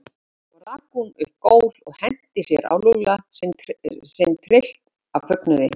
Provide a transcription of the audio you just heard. Svo rak hún upp gól og henti sér á Lúlla sinn tryllt af fögnuði.